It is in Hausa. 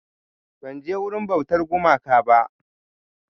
Ban je wurin bautar gumaka ba